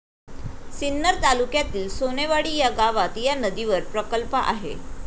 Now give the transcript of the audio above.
सिन्नर तालुक्यातील सोनेवाडी या गावात या नदीवर प्रकल्प आहे.